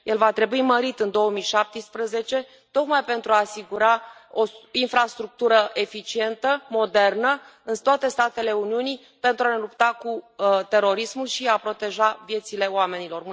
El va trebui mărit în 2017 tocmai pentru a asigura o infrastructură eficientă, modernă în toate statele Uniunii, pentru a lupta cu terorismul și a proteja viețile oamenilor.